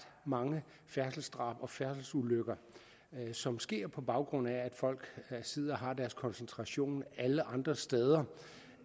mange færdselsdrab og færdselsulykker som sker på baggrund af at folk sidder og har deres koncentration alle andre steder